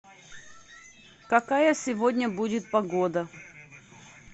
какая сегодня будет погода